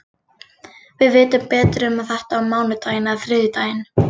Við vitum betur um þetta á mánudaginn eða þriðjudaginn.